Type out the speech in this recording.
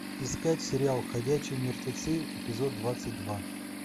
искать сериал ходячие мертвецы эпизод двадцать два